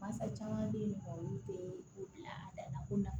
Basa caman be yen nɔ olu tee u la